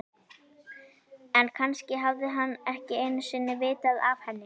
En kannski hafði hann ekki einu sinni vitað af henni.